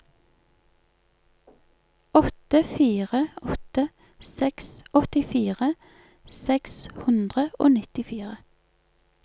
åtte fire åtte seks åttifire seks hundre og nittifire